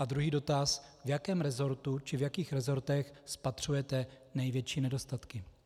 A druhý dotaz: V jakém resortu či v jakých resortech spatřujete největší nedostatky?